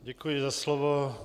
Děkuji za slovo.